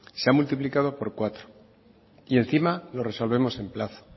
se ha multiplicado por cuatro y encima lo resolvemos en plazo